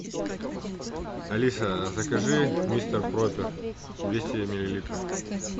алиса закажи мистер пропер двести миллилитров